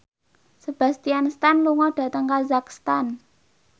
Sebastian Stan lunga dhateng kazakhstan